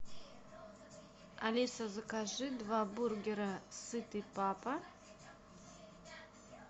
алиса закажи два бургера сытый папа